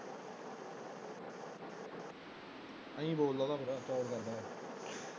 ਯਈਂ ਬੋਲਦਾ ਉਹ ਫੇਰ